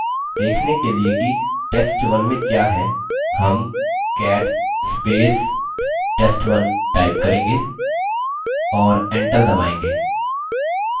देखने के लिए कि test1 में क्या है हम $cat test1 करेंगे और enter दबायेंगे